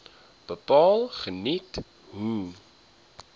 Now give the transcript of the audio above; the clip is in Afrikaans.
bepaal geniet hoë